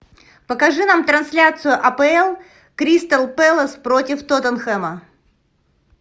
покажи нам трансляцию апл кристал пэлас против тоттенхэма